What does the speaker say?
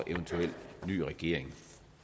eventuel ny regering